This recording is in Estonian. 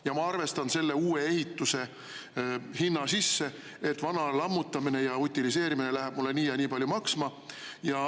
Ja ma arvestan selle uue ehituse hinna sisse, et vana lammutamine ja utiliseerimine läheb mulle nii ja nii palju maksma.